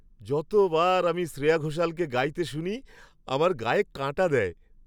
যতবার আমি শ্রেয়া ঘোষালকে গাইতে শুনি, আমার গায়ে কাঁটা দেয়।